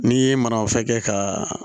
N'i ye manafɛn kɛ ka